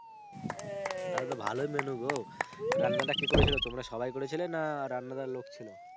তাহলে তো ভালোই menu গো. রান্নাটা কে করেছিল? তোমরা সবাই করেছিলে? না রান্না দার লোক ছিল?